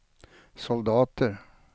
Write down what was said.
soldater